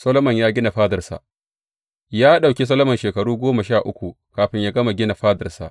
Solomon ya gina fadarsa Ya ɗauki Solomon shekaru goma sha uku kafin yă gama gina fadarsa.